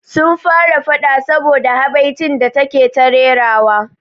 Sun fara faɗa saboda da habaicin da take ta rerawa